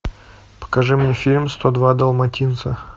покажи мне фильм сто два долматинца